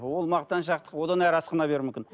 ол мақтаншақтық одан әрі асқына беруі мүмкін